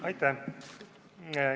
Aitäh!